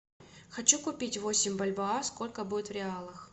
хочу купить восемь бальбоа сколько будет в реалах